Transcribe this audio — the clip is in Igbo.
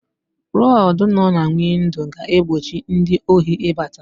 Rọdụ nọ na windo ga-egbochi ndị ohi ị bata.